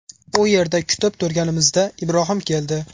U yerda kutib turganimizda Ibrohim keldi.